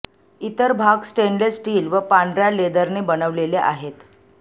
इतर भाग stainless steel व पांढऱ्या लेदरने बनवलेले आहेत